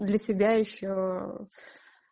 для себя ещё